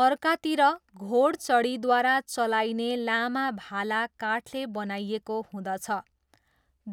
अर्कातिर, घोडचढीद्वारा चलाइने लामा भाला काठले बनाइएको हुँदछ,